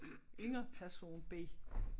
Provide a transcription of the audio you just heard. Inger person B